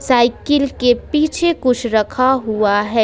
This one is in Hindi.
साइकिल के पीछे कुछ रखा हुआ है।